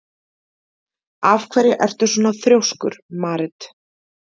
Af hverju ertu svona þrjóskur, Marit?